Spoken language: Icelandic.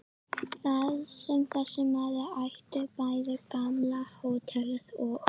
Þar sem þessi maður átti bæði gamla hótelið og